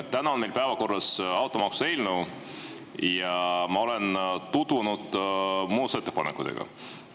Täna on meil päevakorras automaksu eelnõu ja ma olen tutvunud muudatusettepanekutega.